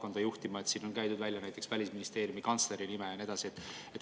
On välja käidud näiteks Välisministeeriumi kantsleri nime ja nii edasi.